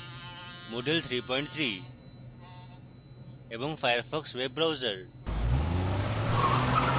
moodle 33 এবং firefox web browser